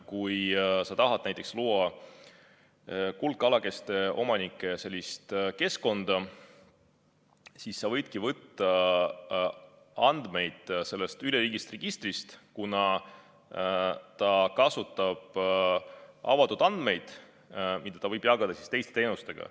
Kui sa tahad näiteks luua kuldkalakeste omanike keskkonna, siis sa võidki võtta andmeid sellest üleriigilisest registrist, kuna see kasutab avatud andmeid, mida võib jagada teiste teenustega.